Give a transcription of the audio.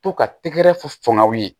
To ka tɛgɛrɛ fɔ n'aw ye